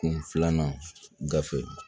Kun filanan gafe